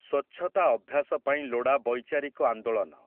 ସ୍ୱଚ୍ଛତା ଅଭ୍ୟାସ ପାଇଁ ଲୋଡ଼ା ବୈଚାରିକ ଆନ୍ଦୋଳନ ।